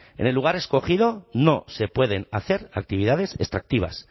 en el lugar escogido no se pueden hacer actividades extractivas